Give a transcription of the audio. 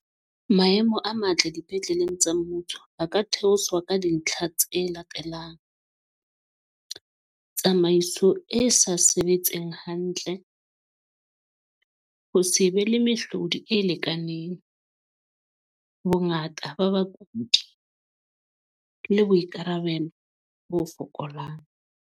Maemo a matle dipetleleng tsa mmuso ba ka theoswa ka dintlha tse latelang. Tsamaiso e sa sebetseng hantle. Ho se be le mehlodi e lekaneng. Bongata ba bakudi le boikarabelo bo fokolang.